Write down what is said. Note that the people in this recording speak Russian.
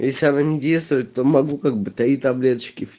если она не действует то могу как бы три таблеточки